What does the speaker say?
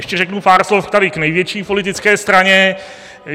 Ještě řeknu pár slov tady k největší politické straně.